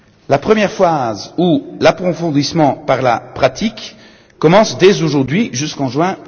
La première phase, ou l'approfondissement par la pratique, commence dès aujourd'hui jusqu'en